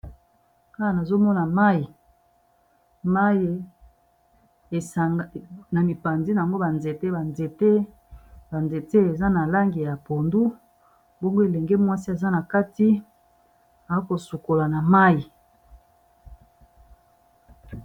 Awa nazomona mai, mai mipanzi nango ba nzete, ba nzete eza na langi ya pondu, bongo elenge mwasi aza na kati akosukola na mai.